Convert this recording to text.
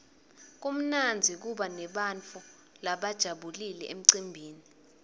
kumnandzi kuba nebantfu labajabulile emcimbini